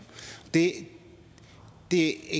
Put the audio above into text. det det